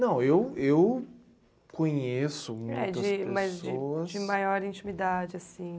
Não, eu eu conheço muitas pessoas... Mas de maior intimidade, assim?